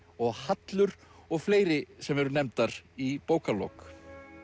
og Hallur og fleiri sem eru nefndar í bókarlok